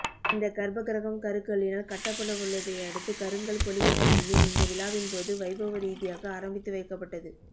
இந்தக் கர்ப்பக்கிரகம் கருங்கல்லினால் கட்டப்படவுள்ளதையடுத்து கருங்கல் பொழிவு பணியும் இந்த விழாவின்போது வைபவரீதியாக ஆரம்பித்து வைக்கப்பட்டது